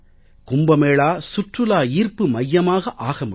கும்ப மேளா சுற்றுலா ஈர்ப்பு மையமாக ஆக முடியும்